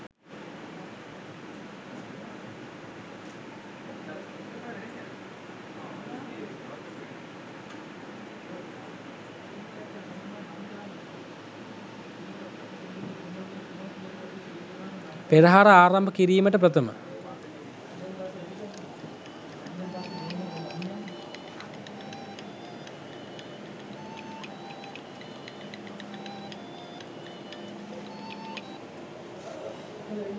පෙරහර ආරම්භ කිරීමට ප්‍රථම